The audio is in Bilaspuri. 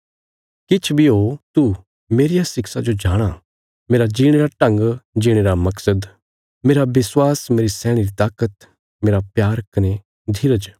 किछ बी हो तू मेरिया शिक्षा जो जाणाँ मेरा जीणे रा ढंग जीणे रा मकसद मेरा विश्वास मेरी सैहणे री ताकत मेरा प्यार मेरा धीरज